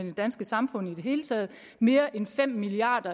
det danske samfund i det hele taget mere end fem milliard